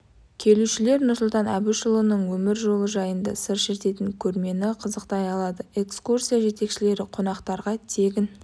келушілер нұрсұлтан әбішұлының өмір жолы жайында сыр шертетін көрмені қызықтай алады экскурсия жетекшілері қонақтарға тегін